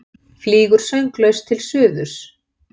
Flýgur sönglaus til suðurs.